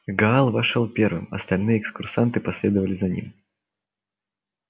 гаал вошёл первым остальные экскурсанты последовали за ним